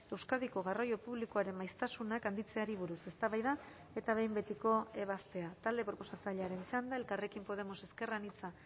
euskadiko garraio publikoaren maiztasunak handitzeari buruz eztabaida eta behin betiko ebazpena talde proposatzailearen txanda elkarrekin podemos ezker anitza